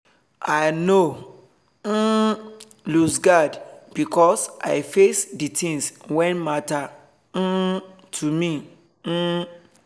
i nor um lose guard becos i face d tins wen matter um to me um